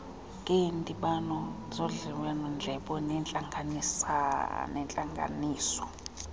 ngeendibano zodliwanondlebe nangeentlanganiso